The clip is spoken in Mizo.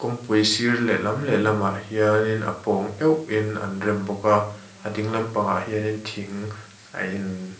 kawngpui sir leh lam leh lam ah hianin a pawng keuh in an rem bawk a a dinglam pang ah hianin thing a in--